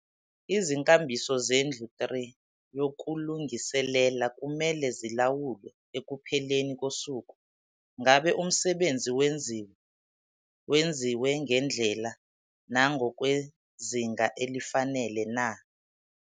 Izinkambiso zendlu 3 yokulungiselela kumele zilawulwe ekupheleni kosuku - ngabe umsebenzi wenziwe, wenziwe ngendlela nangokwezinga elifanele na?